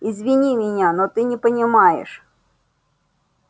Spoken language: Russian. извини меня но ты не понимаешь